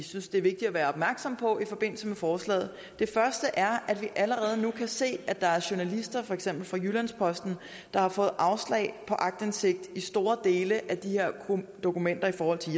synes det er vigtigt at være opmærksom på i forbindelse med forslaget det første er at vi allerede nu kan se at der er journalister for eksempel fra jyllands posten der har fået afslag på aktindsigt i store dele af de her dokumenter i forhold til